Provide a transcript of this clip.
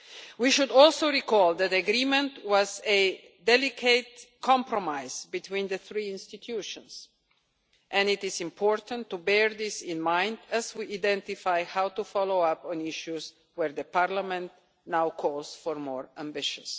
We should also recall that the agreement was a delicate compromise between the three institutions and it is important to bear this in mind as we identify how to follow up on issues where Parliament now calls for more ambition.